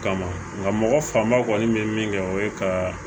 Kama nka mɔgɔ fanba kɔni bɛ min kɛ o ye ka